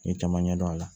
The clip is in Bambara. N ye caman ɲɛdɔn a la